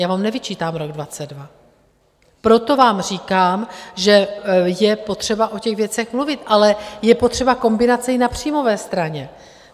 Já vám nevyčítám rok 2022, proto vám říkám, že je potřeba o těch věcech mluvit, ale je potřeba kombinace i na příjmové straně.